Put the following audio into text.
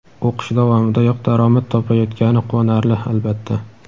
o‘qish davomidayoq daromad topayotgani quvonarli, albatta.